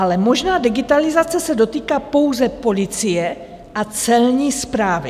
Ale možná digitalizace se dotýká pouze policie a celní správy.